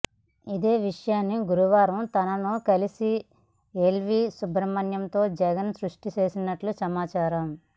ఇదే విషయాన్ని గురువారం తనను కలిసిన ఎల్వీ సుబ్రమణ్యంతో జగన్ స్పష్టం చేసినట్లు సమాచారం